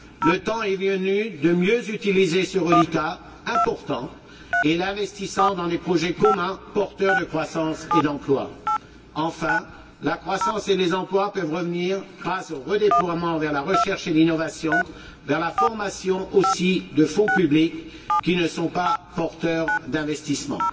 Le temps est venu de mieux utiliser ce reliquat important en l'investissant dans des projets communs porteurs de croissance et d'emploi. Enfin, la croissance et la création d'emplois peuvent être encouragées grâce au redéploiement vers la recherche et l'innovation, ou vers la formation, de fonds publics qui ne sont pas porteurs d'investissements.